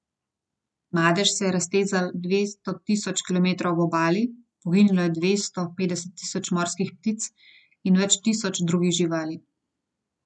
Madež se je raztezal dva tisoč kilometrov ob obali, poginilo je dvesto petdeset tisoč morskih ptic in več tisoč drugih živali.